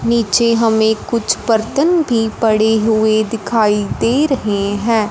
नीचे हमें कुछ बर्तन भी पड़े हुएं दिखाई दे रहें हैं।